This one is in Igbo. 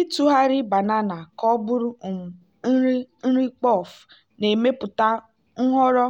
ịtụgharị banana ka ọ bụrụ um nri nri puff na-emepụta nhọrọ